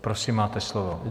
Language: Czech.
Prosím, máte slovo.